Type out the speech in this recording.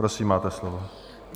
Prosím, máte slovo.